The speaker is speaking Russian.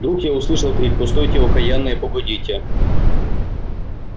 вдруг я услышал крик постойте окаянные погодите